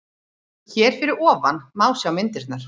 Hér fyrir ofan má sjá myndirnar